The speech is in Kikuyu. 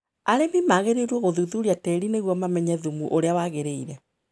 Arĩmi magĩrĩirũo gũthuthuria tĩĩri nĩguo mamenye thũmu ũrĩa wagĩrĩire.